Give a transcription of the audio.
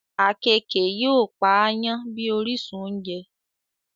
Àkekèé yóò Pa àyàn bí orísun ounjẹ